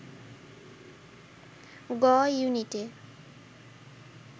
গ-ইউনিটে